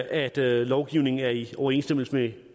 at lovgivningen er i overensstemmelse med